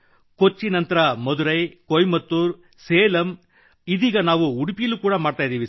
ಕೊಚ್ಚಿ ನಂರತ ಮಧುರೈ ಕೋಯಂಬತ್ತೂರ್ ಸೇಲಂ ಇದೀಗ ನಾವು ಉಡುಪಿಯಲ್ಲಿಯೂ ಮಾಡಿದ್ದೇವೆ